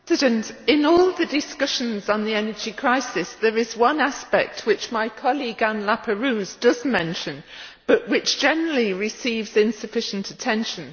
Madam President, in all the discussions on the energy crisis, there is one aspect which my colleague, Anne Laperrouze, does mention, but which generally receives insufficient attention.